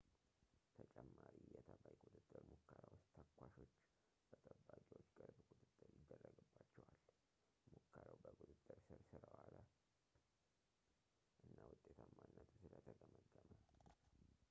ተጨማሪ የተባይ ቁጥጥር ሙከራ ውስጥ ተኳሾች በጠባቂዎች ቅርብ ቁጥጥር ይደረግባቸዋል ሙከራው በቁጥጥር ሥር ስለ ዋለ እና ውጤታማነቱ ስለ ተገመገመ